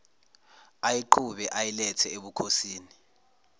ayiqhube ayilethe ebukhosini